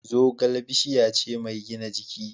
Zogale bishiya ce mai gina jiki.